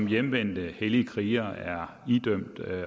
hjemvendte hellige krigere er idømt